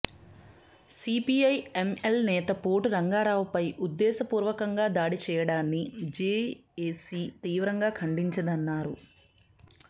CPI ML నేత పోటు రంగారావుపై ఉద్దేశపూర్వకంగా దాడి చేయడాన్ని జేఏసీ తీవ్రంగా ఖండించిందన్నారు